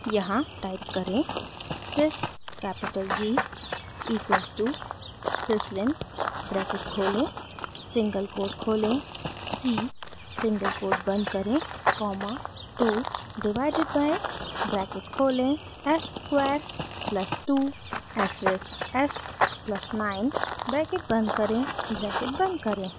यहाँ टाइप करें : sys capital g equals to syslin bracket खोलें सिंगल कोट खोलें c सिंगल कोट बंद करें कॉमा 2 डिवाइडेड बाइ ब्रैकेट खोलें s square plus 2 asterisk s plus 9 bracket बंद करें ब्रैकेट बंद करें